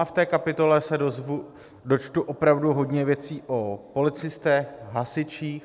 A v té kapitole se dočtu opravdu hodně věcí o policistech, hasičích.